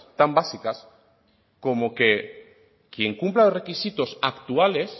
tan básicas como que quien cumpla los requisitos actuales